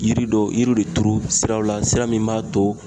Yiri dɔw yiriw de turu siraw la sira min b'a to